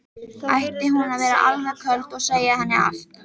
Ætti hún að vera alveg köld og segja henni allt?